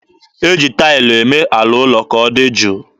E ji taịlụ eme ala ụlọ ka ọ dị jụụ.